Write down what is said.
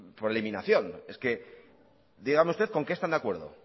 por eliminación es que dígame usted con qué están de acuerdo